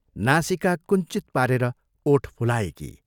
नासिका कुञ्चित पारेर ओठ फुलाएकी।